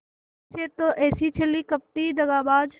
इसी से तो ऐसी छली कपटी दगाबाज